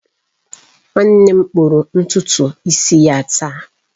Nwanne m kpụrụ ntutu isi ya taa